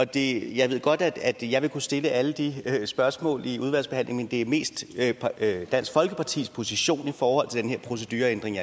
det jeg ved godt at jeg vil kunne stille alle de spørgsmål i udvalgsbehandlingen men det er mest dansk folkepartis position i forhold til den her procedureændring